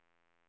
viktigt